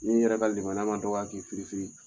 Ni yɛrɛ ka lemana ma dɔgɔya k'i fir firi